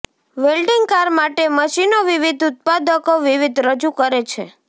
welding car માટે મશીનો વિવિધ ઉત્પાદકો વિવિધ રજૂ કરે છે